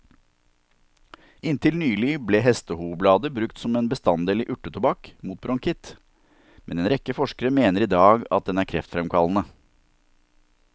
Inntil nylig ble hestehovblader brukt som en bestanddel i urtetobakk mot bronkitt, men en rekke forskere mener i dag at den er kreftfremkallende.